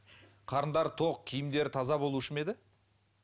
қарындары тоқ киімдері таза болушы ма еді